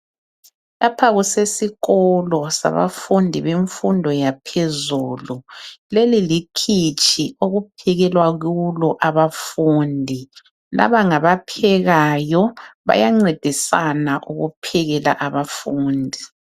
Lapha kusesikolo sabafundi bemfundo yaphezulu. Leli likhitshi okuphekelwa kulo abafundi. Laba ngabaphekayo, bayancedisana ukuphekela abafundi.